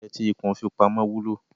Oúnjẹ tí ikùn fi pamọ́ wúlò.